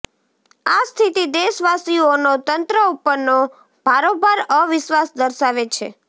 આ સ્થિતિ દેશવાસીઓનો તંત્ર ઉપરનો ભારોભાર અવિશ્વાસ દર્શાવે છે